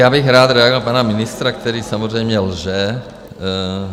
Já bych rád reagoval na pana ministra, který samozřejmě lže.